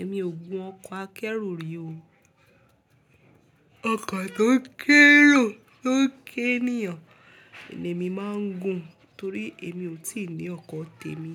Èmi ò gun ọkọ̀ akẹ́rù rí o. Ọkọ̀ tó ń kẹ́rù tó ń kẹ́èyàn ni èmi máa ń gun torí èmi ò tí ì ní ọkọ̀ tèmi